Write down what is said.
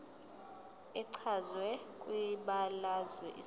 echazwe kwibalazwe isakhiwo